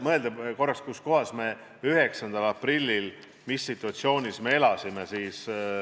Mõtleme korraks, kuskohas me 9. aprillil olime ja mis situatsioonis me elasime.